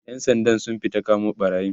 ƴan Sandan sun fita kamo ɓarayin